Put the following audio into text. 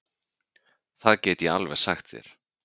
Það get ég alveg sagt þér.